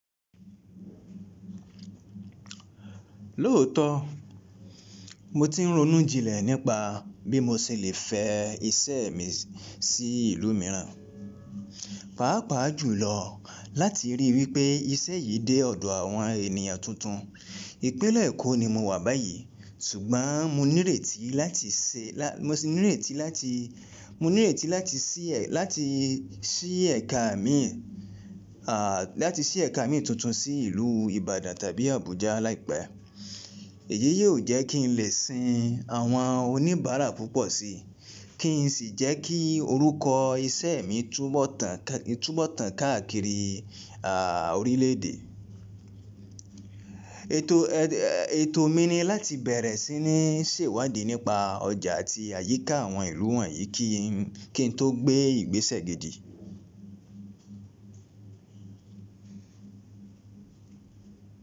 Lóòótọ́ mo ti ń ronú jinlẹ̀ nípa bí mo ṣe le fẹ́ iṣẹ́ mi sí ìlú mìíràn, pàápàá jùlọ láti ríi wípé iṣẹ́ yìí dé ọ̀dọ̀ àwọn ènìyàn tuntun. Ìpínlẹ̀ Èkó ni mo wà báyìí, ṣùgbọ́n mo ní ìrètí láti láti ṣí ẹ̀ka mi tuntun sí ìlú Ìbàdàn tàbí Abuja láìpẹ́. Èyí yóò jẹ́ kí n lè sin àwọn oníbàárà púpọ̀ síi, kí n sì jẹ́ kí orúkọ iṣẹ́ mi túbọ̀ tán káàkiri orílẹ̀-èdè. Ètò mi ni láti bẹ̀rẹ̀ sí ní ṣèwádìí nípa ọjà àti àyíká àwọn ìlú wọ̀nyí kí n tó gbé ìgbésẹ̀ gidi.